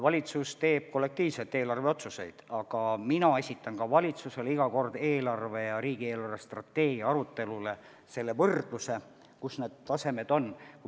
Valitsus teeb kollektiivselt eelarveotsuseid, aga mina esitan valitsusele iga kord eelarveläbirääkimistele ja riigi eelarvestrateegia arutelule võrdluse, kus need palgatasemed on.